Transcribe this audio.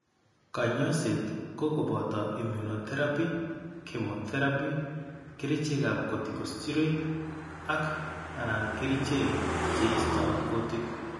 Kanyoiset ko boto immunotherapy, chemotherapy, kerichekab corticosteroid ak/anan kerichek che isto kutik.